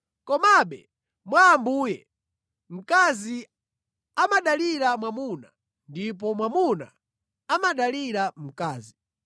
Komabe mwa Ambuye, mkazi amadalira mwamuna ndipo mwamuna amadalira mkazi.